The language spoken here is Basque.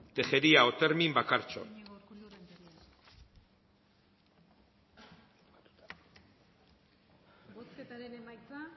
renteria tejeria otermin